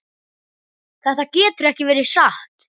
Þetta getur ekki verið satt.